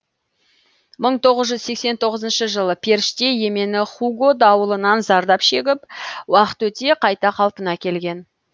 мың тоғыз жүз сексен тоғызыншы жылы періште емені хуго дауылынан зардап шегіп уақыт өте қайта қалпына келген